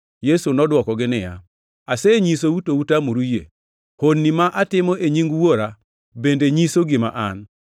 Yesu nodwokogi niya, “Asenyisou, to utamoru yie. Honni ma atimo e nying Wuora bende nyiso gima An,